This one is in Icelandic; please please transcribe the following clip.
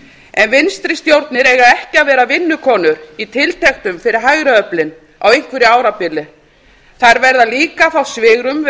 en vinstri stjórnir eiga ekki að vera vinnukonur í tiltektum fyrir hægri öflin á einhverju árabili þær verða líka að fá svigrúm við